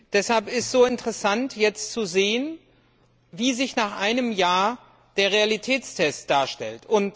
Deshalb ist es so interessant, jetzt zu sehen, wie sich nach einem Jahr der Realitätstest darstellt.